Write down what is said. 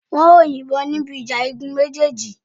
Wọn yóò yìnbọn níbi ìjà igun méjèèjì